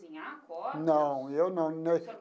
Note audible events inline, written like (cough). Cozinhar corpos? Não, eu não. (unintelligible)